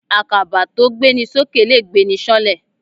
Àkàbà tó gbéni sókè lè gbéni sáńlẹ̀.